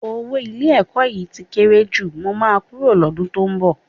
Owó ilé-ẹ̀kọ́ yìí tí kéré jù, mo máa kúrò lọ́dún tó ń bọ̀